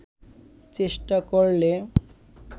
চেষ্টা করলে